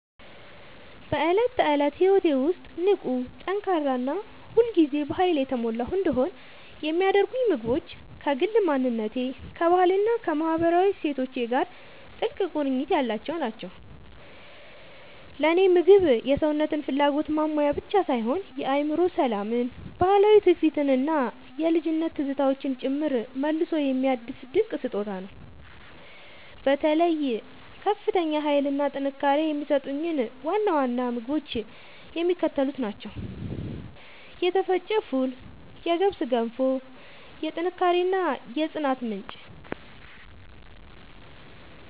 በዕለት ተዕለት ሕይወቴ ውስጥ ንቁ፣ ጠንካራ እና ሁል ጊዜ በኃይል የተሞላሁ እንድሆን የሚያደርጉኝ ምግቦች ከግል ማንነቴ፣ ከባህሌ እና ከማህበራዊ እሴቶቼ ጋር ጥልቅ ቁርኝት ያላቸው ናቸው። ለእኔ ምግብ የሰውነትን ፍላጎት ማሟያ ብቻ ሳይሆን የአእምሮ ሰላምን፣ ባህላዊ ትውፊትን እና የልጅነት ትዝታዎችን ጭምር መልሶ የሚያድስ ድንቅ ስጦታ ነው። በተለይ ከፍተኛ ኃይል እና ጥንካሬ የሚሰጡኝን ዋና ዋና ምግቦች የሚከተሉት ናቸው የተፈጨ ፉል የገብስ ገንፎ፦ የጥንካሬ እና የጽናት ምንጭ